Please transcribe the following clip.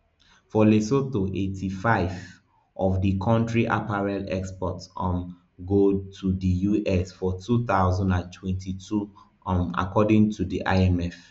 for lesotho eighty-five of di kontri apparel exports um go to di us for two thousand and twenty-two um according to di imf